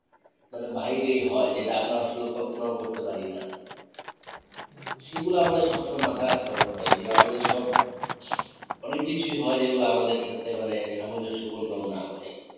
মানে বাইরেই হয় যেটা আমরা আসলে কল্পনাও করতে পারি না সেগুলা আমাদের সবসময় মাথায় রাখতে হবে ভাই যে আমাদের সব অনেক কিছুই হয় যেগুলা আমাদের সাথে মানে সামঞ্জস্য পূর্ণ না ভাই